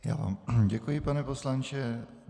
Já vám děkuji, pane poslanče.